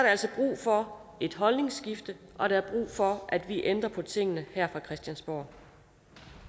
altså brug for et holdningsskifte og for at vi ændrer på tingene her fra christiansborg